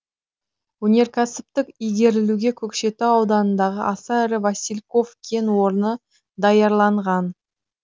өнеркәсіптік игерілуге көкшетау ауданындағы аса ірі васильков кен орны даярланған